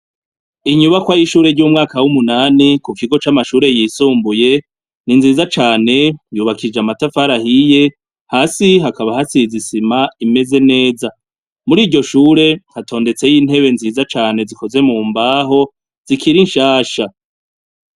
Inyubakwa y'ishure ry'umwaka w'umunani ku kigo c'amashure yisumbuye ni nziza cane, yubakishije amatafari ahiye cane, hasi hakaba hasize isima imeze neza. Muri iryo shure hatondetseyo intebe nziza cane zikozwe mu mbaho zikiri nshasha.